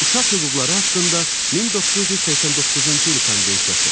Uşaq hüquqları haqqında 1989-cu il konvensiyası.